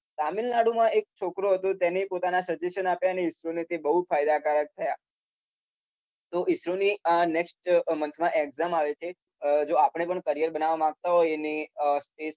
તામીલનાડુમાં એક છોકરો હતો જેને પોતાના સજેશન આપ્યા અને ઈસરોને એનાથી બઉ ફાયદાકારક થયા. તો ઈસરોની આ નેક્સટ મન્થમાં એક્ઝામ આવે છે જો આપણે પણ કરીયર બનાવવા માગંતા હોય ને